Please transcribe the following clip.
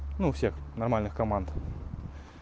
ну у всех нормальных команд